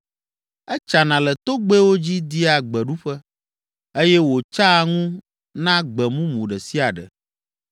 Etsana le togbɛwo dzi dia gbeɖuƒe eye wòtsaa ŋu na gbe mumu ɖe sia ɖe.